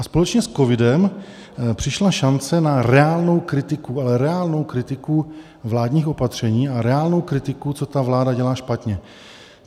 A společně s covidem přišla šance na reálnou kritiku, ale reálnou kritiku vládních opatření a reálnou kritiku, co ta vláda dělá špatně.